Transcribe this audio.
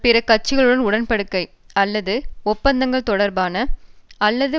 பிற கட்சிகளுடன் உடன் படிக்கை அல்லது ஒப்பந்தங்கள் தொடர்பான அல்லது